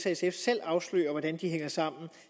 sf selv afslører hvordan de hænger sammen